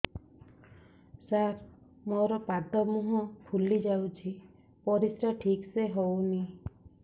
ସାର ମୋରୋ ପାଦ ମୁହଁ ଫୁଲିଯାଉଛି ପରିଶ୍ରା ଠିକ ସେ ହଉନି